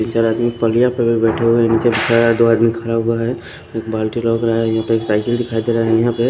चार आदमी पलिया पे भी बैठे हुए नीचे दो आदमी खरा हुआ है बाल्टी है यहां पे साइकिल दिखाई दे रहा है यहां पे --